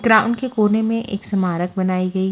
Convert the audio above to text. ग्राम के कोने में एक स्मारक बनायी गई--